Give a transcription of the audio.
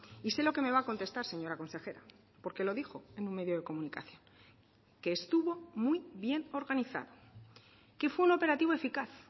y sé lo que me va a contestar señora consejera porque lo dijo en un medio de comunicación que estuvo muy bien organizado que fue un operativo eficaz